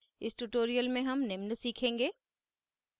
इस tutorial में हम निम्न सीखेंगे